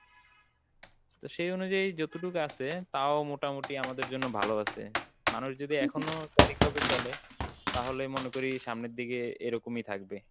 তো সেই অনুযায়ী যতটুক আছে তাও মোটামোটি আমাদের জন্য ভালো আছে, মানুষ যদি এখনো সঠিকভাবে চলে তাহলে মনে করি সামনে দিকে এরকমই থাকবে।